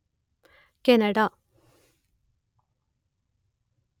Canada